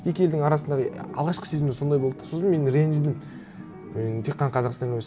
екі елдің арасындағы алғашқы сезімдер сондай болды да сосын мен ренжідім енді тек қана қазақстан емес